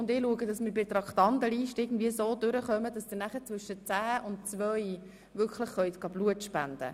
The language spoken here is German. Ich werde dann schauen, dass wir mit der Traktandenliste soweit vorwärtskommen, dass Sie zwischen 10.00 und 14.00 Uhr Blut spenden können.